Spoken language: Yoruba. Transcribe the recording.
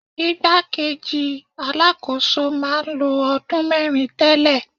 Ìgbá kejì Alákóso máa ń lo ọdún mẹ́rin tẹ́lẹ̀.